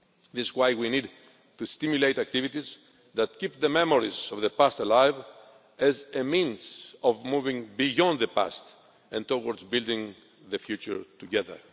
This is why we need to stimulate activities that keep the memories of the past alive as a means of moving beyond the past and towards building the future together.